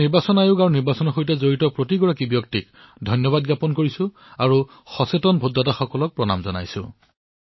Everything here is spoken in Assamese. মই নিৰ্বাচন আয়োগক এই নিৰ্বাচন প্ৰক্ৰিয়াৰ সৈতে জড়িত প্ৰত্যেকজন ব্যক্তিক অলেখ অভিনন্দন জনাইছো আৰু ভাৰতৰ সজাগ ভোটদাতাক প্ৰণাম জনাইছো